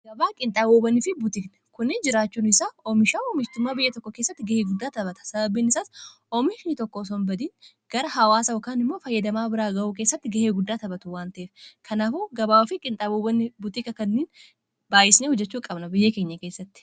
agabaa qinxaabubanii fi butikna kunni jiraachuun isaa oomishaa oomishitummaa biyya tokko keessatti ga'ee guddaa tabhata sababbiinisaas oomishni tokko sonbadiin gara hawaasawakaan immoo fayyadamaa biraa ga'uu keessatti ga'ee guddaa taphatu waanta'ef kanaafu gabaabafi qinxaabuban buxika kanniin baayyisne hujjechuu qabna biyyee keenya keessatti